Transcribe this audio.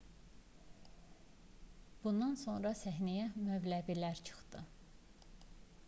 bundan sonra səhnəyə mövləvilər çıxdı